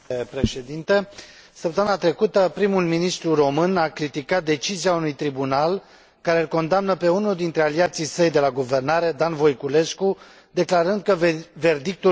Săptămâna trecută, prim ministrul român a criticat decizia unui tribunal care îl condamnă pe unul dintre aliații săi de la guvernare, Dan Voiculescu, declarând că verdictul trebuie modificat.